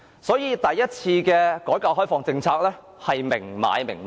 所以，第一次改革開放的政策是明買明賣的。